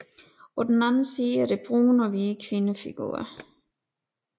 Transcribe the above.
På den anden side er der brune og hvide kvindefigurer